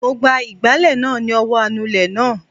Mo gba ìgbálẹ̀ náà ni ọwọ́ anulẹ̀ náà